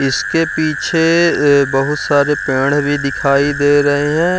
इसके पीछे बहुत सारे पेड़ भी दिखाई दे रहे हैं।